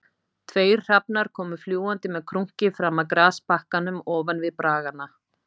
Tveir hrafnar komu fljúgandi með krunki fram af grasbakkanum ofan við braggana